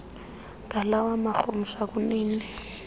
ngalawa marhumsha kunini